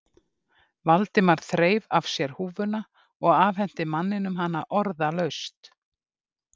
Valdimar þreif af sér húfuna og afhenti manninum hana orðalaust.